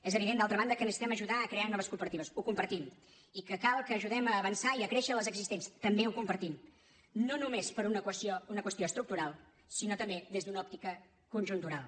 és evident d’altra banda que necessitem ajudar a crear noves cooperatives ho compartim i que cal que ajudem a avançar i a créixer les existents també ho compartim no només per una qüestió estructural sinó també des d’una òptica conjuntural